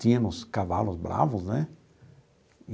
Tínhamos cavalos bravos, né?